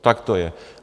Tak to je.